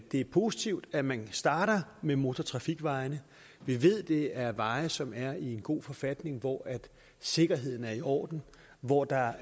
er positivt at man starter med motortrafikvejene vi ved at det er veje som er i en god forfatning hvor sikkerheden er i orden hvor der